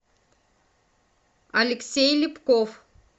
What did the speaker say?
алексей липков